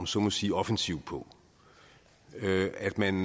så må sige offensiv på at man